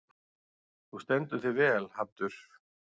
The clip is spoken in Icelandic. Þú stendur þig vel, Haddur!